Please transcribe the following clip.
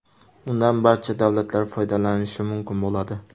Undan barcha davlatlar foydalanishi mumkin bo‘ladi.